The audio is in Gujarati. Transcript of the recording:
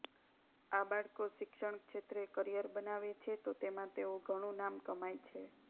આ બાળકો શિક્ષણ ક્ષેત્રે કરિયર બનાવે છે તો તેમાં તેઓ ઘણું નામ કમાય છે